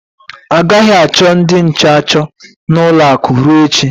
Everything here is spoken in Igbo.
A gaghị achọ ndị nche achọ n'ụlọ akụ ruo echi.